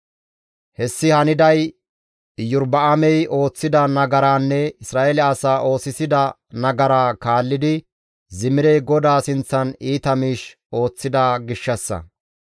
Hessi haniday Iyorba7aamey ooththida nagaraanne Isra7eele asaa oosisida nagaraa kaallidi Zimirey GODAA sinththan iita miish ooththida gishshassa.